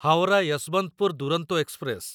Howrah Yesvantpur Duronto express